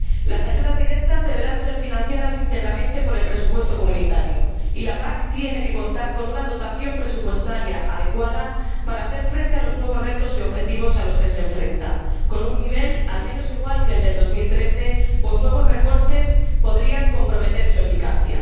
Las ayudas directas deberán ser financiadas íntegramente por el presupuesto comunitario y la PAC tiene que contar con una dotación presupuestaria adecuada para hacer frente a los nuevos retos y objetivos a los que se enfrenta, con un nivel al menos igual que el de 2013, pues nuevos recortes podrían comprometer su eficacia.